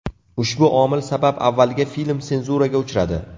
Ushbu omil sabab avvaliga film senzuraga uchradi.